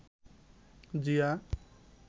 Zia